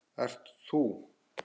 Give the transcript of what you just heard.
Ert þú?